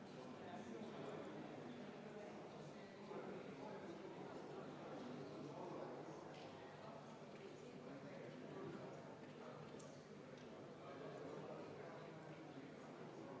Hääletustulemused Viienda muudatusettepaneku poolt oli 86 Riigikogu liiget, vastuolijaid ega erapooletuid ei olnud.